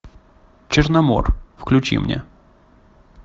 черномор включи мне